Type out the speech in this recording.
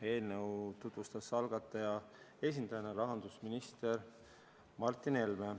Eelnõu tutvustas algataja esindajana rahandusminister Martin Helme.